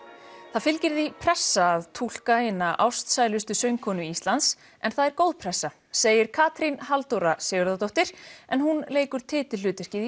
það fylgir því pressa að túlka eina ástælustu söngkonu Íslands en það er góð pressa segir Katrín Halldóra Sigurðardóttir en hún leikur titilhlutverkið